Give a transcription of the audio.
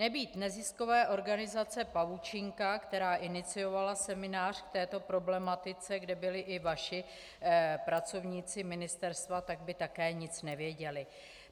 Nebýt neziskové organizace Pavučinka, která iniciovala seminář k této problematice, kde byli i vaši pracovníci ministerstva, tak by také nic nevěděli.